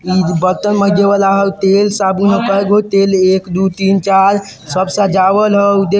इ बर्तन माजे वाला हउ तेल-साबुन कए गो तेल एक दो तीन चार सब सजावल हउ देख --